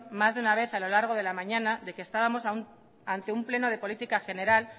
más de una vez a lo largo de la mañana de que estábamos ante un pleno de política general